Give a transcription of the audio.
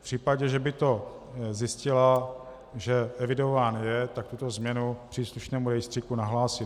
V případě, že by to zjistila, že evidován je, tak tuto změnu příslušnému rejstříku nahlásí.